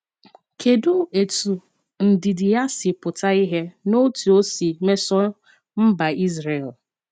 Kedụ etú ndidi ya si pụta ìhè n’otú o si mesoo mba Izrel?